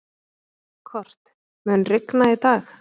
Kort, mun rigna í dag?